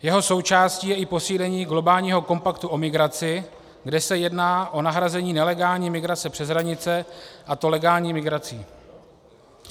Jeho součástí je i posílení globálního kompaktu o migraci, kde se jedná o nahrazení nelegální migrace přes hranice, a to legální migrací.